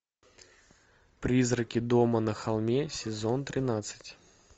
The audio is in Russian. призраки дома на холме сезон тринадцать